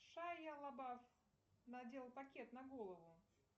шайа лабаф надела пакет на голову